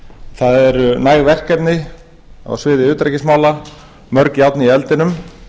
það eru næg verkefni á sviði utanríkismála mörg járn í eldinum